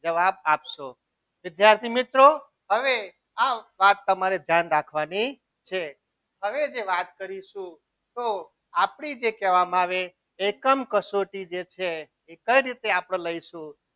જવાબ આપશો વિદ્યાર્થી મિત્રો હવે આ વાત તમારે ધ્યાન રાખવાની છે હવે જે વાત કરીશું તો આપણી જે કહેવામાં આવે એકમ કસોટી જે છે તે કેવી રીતે આપણે લઈશું.